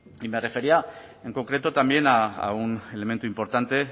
y me refería en concreto también a un elemento importante